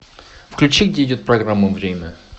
включи где идет программа время